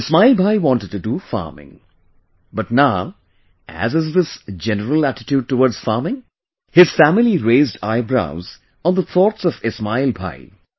Ismail Bhai wanted to do farming, but, now, as is these general attitude towards farming, his family raised eyebrows on the thoughts of Ismail Bhai